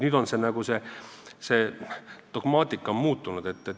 Nüüd on see dogmaatika muutunud.